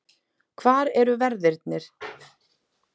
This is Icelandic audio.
Hvar eru verðirnir?